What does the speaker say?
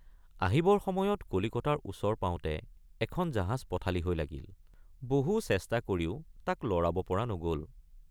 আহিবৰ সময়ত কলিকতাৰ ওচৰ পাওঁতে এখন জাহাজ পথালি হৈ লাগিল বহু চেষ্টা কৰিও তাক লৰাব পৰা নগল।